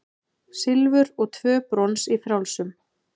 Silfur og tvö brons í frjálsum